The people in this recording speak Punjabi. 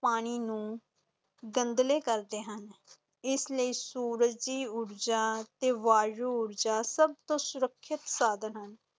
ਪਾਣੀ ਨੂੰ ਗੰਧਲੇ ਕਰਦੇ ਹਨ, ਇਸ ਲਈ ਸੂਰਜੀ ਊਰਜਾ ਤੇ ਵਾਯੂ ਊਰਜਾ ਸਭ ਤੋਂ ਸੁਰੱਖਿਅਤ ਸਾਧਨ ਹਨ।